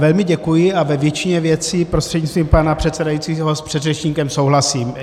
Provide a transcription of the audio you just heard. Velmi děkuji a ve většině věcí prostřednictvím pana předsedajícího s předřečníkem souhlasím.